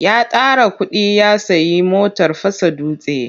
Ya tara kuɗi ya sayi motar fasa dutse.